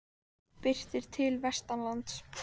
Birtir til vestanlands